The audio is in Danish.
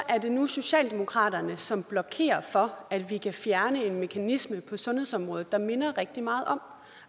er det nu socialdemokratiet som blokerer for at vi kan fjerne en mekanisme på sundhedsområdet der minder rigtig meget om